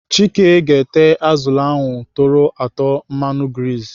Chike ga-ete azụlụ ahụ tọrọ atọ mmanụ grizi.